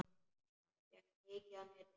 Hann hékk mikið á netinu.